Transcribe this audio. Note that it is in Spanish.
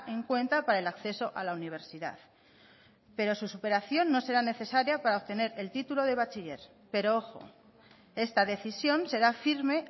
en cuenta para el acceso a la universidad pero su superación no será necesaria para obtener el título de bachiller pero ojo esta decisión será firme